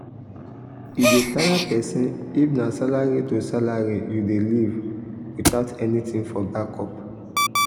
e dey tire person if na salary to salary you dey live without anything for backup.